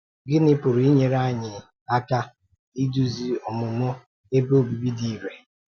Gịnị pụrụ inyere anyị um aka idúzi ọmụmụ Ebe Obibi dị irè? um